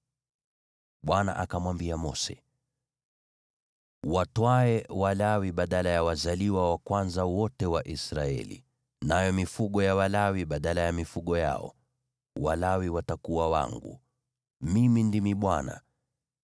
“Watwae Walawi badala ya wazaliwa wa kwanza wote wa Israeli, nayo mifugo ya Walawi badala ya mifugo yao. Walawi watakuwa wangu. Mimi ndimi Bwana .